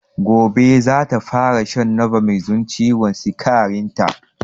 Gobe zata fara shan novomix don ciwon sikarin ta